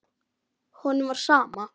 Honum var sama.